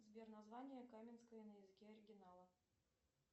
сбер название каменское на языке оригинала